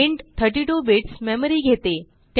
int 32 bits memory घेते